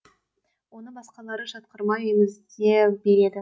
оны басқалары жатқырмай емізе береді